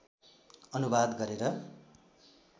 अनुवाद गरेर